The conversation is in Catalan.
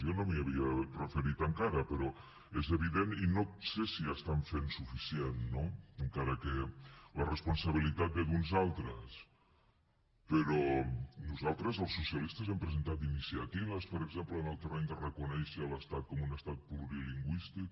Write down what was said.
jo no m’hi havia referit encara però és evident i no sé si estan fent suficient no encara que la responsabilitat ve d’uns altres però nosaltres els socialistes hem presentat iniciatives per exemple en el terreny de reconèixer l’estat com un estat plurilingüístic